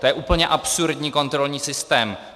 To je úplně absurdní kontrolní systém.